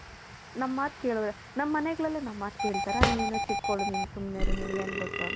ನಮ್ಮ ಮಾತ್ ನಮ್ಮ ಮನೆಗಳಲ್ಲೇ ನಮ್ಮ ಮಾತ್ ಕೆಲ್ಥರ ನಿನ್ ಇನ್ನ ಚಿಕ್ಕೊಲ್ ನಿನ್ ಸುಮ್ನೆ ಇರು ನಿನಗೇನ್ ಗೂತು .